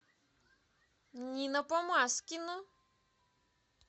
нина помазкина